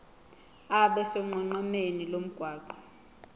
abe sonqenqemeni lomgwaqo